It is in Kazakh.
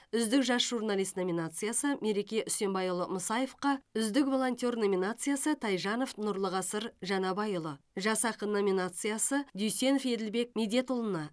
үздік жас журналист номинациясы мереке үсембайұлы мусаевқа үздік волонтер номинациясы тайжанов нұрлығасыр жанабайұлы жас ақын номинациясы дүйсенов еділбек медетұлына